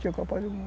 Tinha Copa do Mundo.